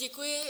Děkuji.